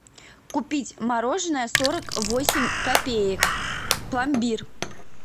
купить мороженое сорок восемь копеек пломбир